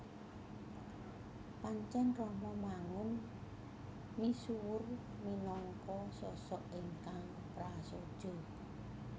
Pancèn Romo Mangun misuwur minangka sosok ingkang prasaja